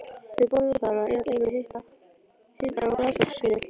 Þau borða þar og eyða deginum í hita og glaðasólskini.